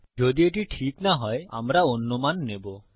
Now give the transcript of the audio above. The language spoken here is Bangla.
যদি এটি ঠিক না হয় আমরা অন্য মান নেবো